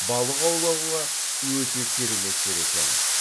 балық аулауға өте керемет жер екен